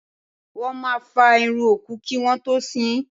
Wọ́n máa fá irun òkú kí wọ́n tó sín.